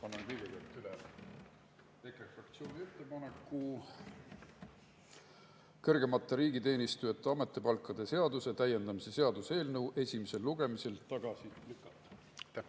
Annan kõigepealt üle EKRE fraktsiooni ettepaneku kõrgemate riigiteenijate ametipalkade seaduse täiendamise seaduse eelnõu esimesel lugemisel tagasi lükata.